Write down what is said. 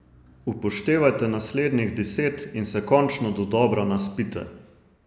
Upoštevajte naslednjih deset in se končno dodobra naspite.